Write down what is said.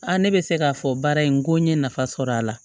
ne bɛ se k'a fɔ baara in ko n ye nafa sɔrɔ a la